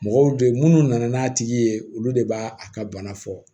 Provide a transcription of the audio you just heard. Mɔgɔw don munnu nana n'a tigi ye olu de b'a a ka bana fɔ